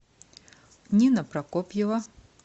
нина прокопьева